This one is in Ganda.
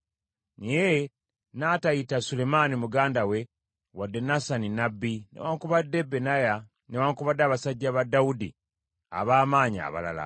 naye n’atayita Sulemaani muganda we wadde Nasani nnabbi, newaakubadde Benaya, newaakubadde abasajja ba Dawudi ab’amaanyi abalala.